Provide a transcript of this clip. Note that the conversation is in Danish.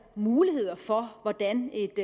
muligheder for hvordan et